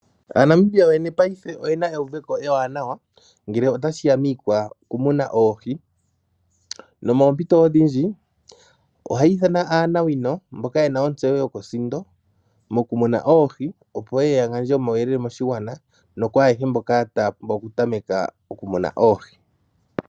Aanamibia yoyene paife oye na euveko ewaanawa ngele tashi ya pokumuna oohi. Poompito odhindji ohaya ithana aanawino mboka ye na ontseyo yokosindo mokumuna oohi, opo ye ye ya gandje omauyelele moshigwana noku ayehe mboka taya pumbwa okutameka okumuna oohi.